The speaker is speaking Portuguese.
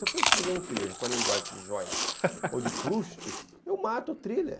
Se eu for escrever um thriller com a linguagem de Joyce ou de Proust, eu mato o thriller.